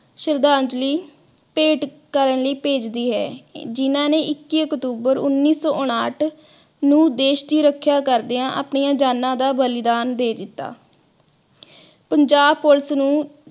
ਸ਼ਰਧਾਂਜਲੀ ਭੇਟ ਕਰਨ ਲਈ ਹੈ, ਜਿਨ੍ਹਾਂ ਨੇ ਇੱਕੀ ਅਕਤੂਬਰ ਉੱਨੀ ਸੋ ਉਨਾਥ ਨੂੰ ਦੇਖ ਦੀ ਰੱਖਿਆ ਕਰਦੇ ਆਪਣੀਆਂ ਜਾਨਾ ਦਾ ਬਲੀਦਾਨ ਦੇ ਦਿਤਾ। ਪੰਜਾਬ police ਨੂੰ